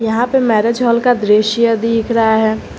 यहां पे marriage hall का दृश्य दिख रहा है।